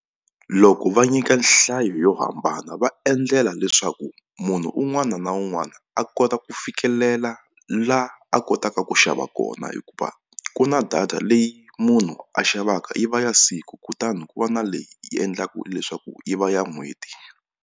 Loko va nyika nhlayo yo hambana va endlela leswaku munhu un'wana na un'wana a kota ku fikelela la a kotaka ku xava kona hikuva ku na data leyi munhu a xavaka yi va ya siku kutani ku va na leyi yi endlaka leswaku yi va ya n'hweti.